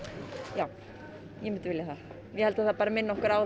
já ég myndi vilja það ég held að það bara minni okkur á